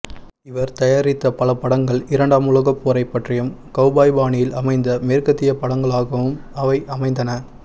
இவர் தயாரித்த பல படங்கள் இரண்டாம் உலகப் போரை பற்றியும் கவ்பாய் பாணியில் அமைந்த மேற்கத்திய படங்களாகவும் அவை அமைந்தன